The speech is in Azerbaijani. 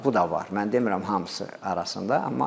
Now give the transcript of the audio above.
Yəni bu da var, mən demirəm hamısı arasında.